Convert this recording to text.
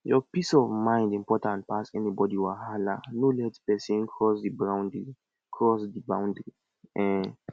your peace of mind important pass anybody wahala no let person cross di boundry cross di boundry um